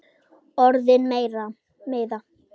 Orðin meiða.